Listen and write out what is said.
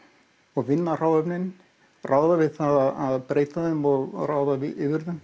og vinna hráefnin ráða við það að breyta þeim og ráða yfir þeim